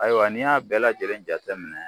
Ayiwa n'i y'a bɛɛ lajɛlen jate minɛ.